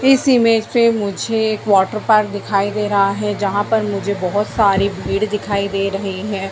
इस इमेज में मुझे एक वॉटर पार्क दिखाई दे रहा है जहां पर मुझे बहुत सारी भीड़ दिखाई दे रही है।